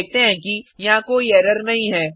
हम देखते हैं कि यहाँ कोई एरर नहीं है